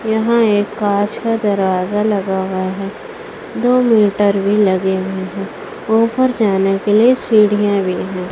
यहां एक कांच का दरवाजा लगा हुआ है दो मीटर भी लगे हुए हैं ऊपर जाने के लिए सीढ़ियां भी हैं।